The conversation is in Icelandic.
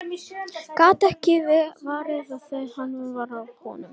Gat ekki varist brosi þegar hann sá hvað var í honum.